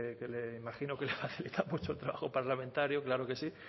que imagino que le facilita mucho el trabajo parlamentario claro que sí